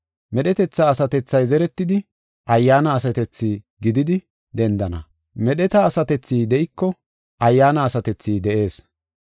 Medhetetha asatethay zeretidi, ayyaana asatethi gididi dendana. Medheta asatethi de7iko, ayyaana asatethi de7ees.